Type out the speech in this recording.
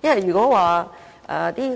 如果說